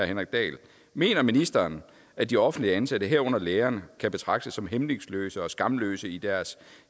henrik dahl mener ministeren at de offentligt ansatte herunder lærerne kan betragtes som hæmningsløse og skamløse i deres